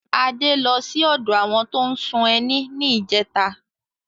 Adé ló sí odo àwọn tó n ṣún ẹni ní ìjẹta